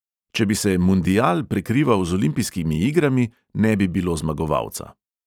Če bi se mundial prekrival z olimpijskimi igrami, ne bi bilo zmagovalca.